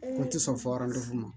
O tɛ sɔn fɔ ma